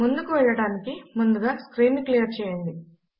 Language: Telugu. ముందుకు వెళ్లటానికి ముందుగా స్క్రీన్ ను క్లియర్ చేయండి